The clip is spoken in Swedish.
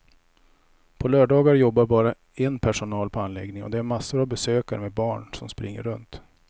På lördagar jobbar det bara en personal på anläggningen och det är massor av besökare med barn som springer runt.